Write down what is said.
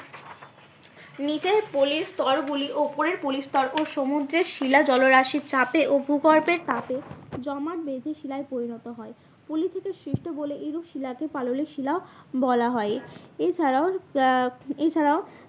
নীচের পলির স্তর গুলি ওপরের পলিস্তর ও সমুদ্রের শিলা জলরাশির চাপে ও ভূগর্ভের তাপে জমাট বেঁধে শিলায় পরিণত হয়। পলি থেকে সৃষ্ট বলে এইরূপ শিলাকে পাললিক শিলা বলা হয়। এছাড়াও আহ এছাড়াও